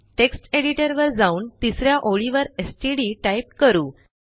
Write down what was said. text editor वर जाऊन तिस या ओळीवर एसटीडी टाईप करू